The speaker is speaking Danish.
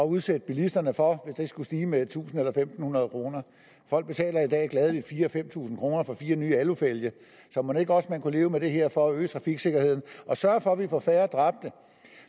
udsætte bilisterne for at den skulle stige med tusind eller fem hundrede kroner folk betaler i dag gladeligt fire tusind fem tusind kroner for fire nye alufælge så mon ikke også man kunne leve med det her for at øge trafiksikkerheden og sørge for at vi får færre dræbte